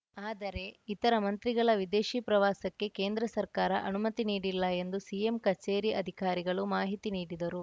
ಆದರೆ ಇತರ ಮಂತ್ರಿಗಳ ವಿದೇಶಿ ಪ್ರವಾಸಕ್ಕೆ ಕೇಂದ್ರ ಸರ್ಕಾರ ಅನುಮತಿ ನೀಡಿಲ್ಲ ಎಂದು ಸಿಎಂ ಕಚೇರಿ ಅಧಿಕಾರಿಗಳು ಮಾಹಿತಿ ನೀಡಿದರು